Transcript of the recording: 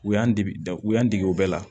U y'an degu u y'an dege u bɛɛ la